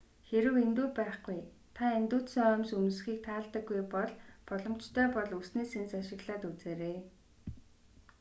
хэрэв индүү байхгүй та индүүдсэн оймс өмсөхийг таалдаггүй бол боломжтой бол үсний сэнс ашиглаад үзээрэй